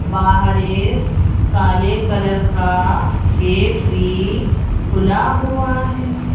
बाहर एक काले कलर का गेट भी खुला हुआ है।